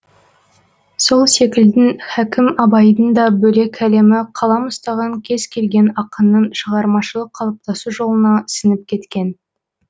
сол секілдің хәкім абайдың да бөлек әлемі қалам ұстаған кез келген ақынның шығармашылық қалыптасу жолына сіңіп кеткен